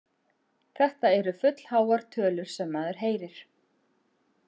Þetta eru fullháar tölur sem maður heyrir.